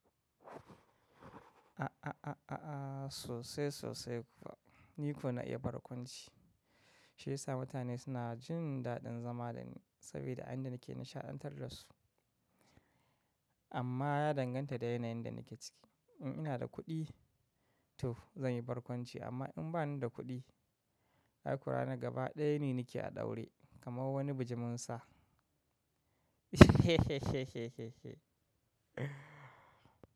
A a a a a sosai sosai kuwa. Ni kuwa na iya barkwanci. Shi yasa mutane suna jin daɗin zama da ni saboda a yanda nake nishaɗantar da su. Amma ya danganta da yanayin da nake ciki. In ina da kuɗi to zan yi barkwanci amma in ba ni da kuɗi, hakura na gaba ɗaya ne nake a daure kamar wani bijimin sa.